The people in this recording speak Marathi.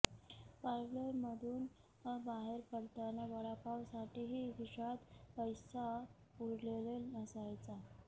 पार्लरमधून बाहेर पडताना वडापावसाठीही खिशात पैसा उरलेला नसायचा